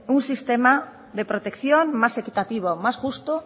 un sistema de protección más equitativo más justo